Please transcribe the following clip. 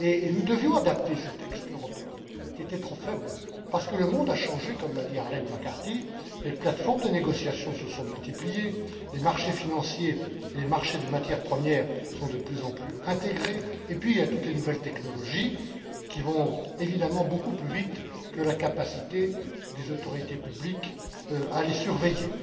Nous devions adapter ce texte européen, qui était trop faible, parce que le monde a changé comme l'a dit Arlene McCarthy les plateformes de négociation se sont multipliées, les marchés financiers et les marchés de matières premières sont de plus en plus intégrés, et puis toutes les nouvelles technologies vont évidemment plus vite que la capacité des pouvoirs publics à les surveiller.